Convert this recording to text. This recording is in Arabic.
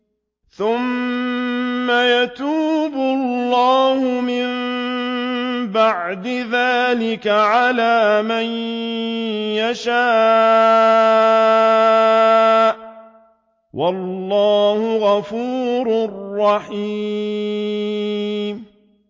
ثُمَّ يَتُوبُ اللَّهُ مِن بَعْدِ ذَٰلِكَ عَلَىٰ مَن يَشَاءُ ۗ وَاللَّهُ غَفُورٌ رَّحِيمٌ